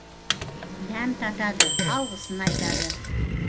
дәм татады алғысын айтады